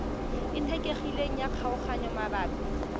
e kgethegileng ya kgaoganyo mabapi